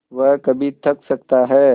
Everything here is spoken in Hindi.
वह कभी थक सकता है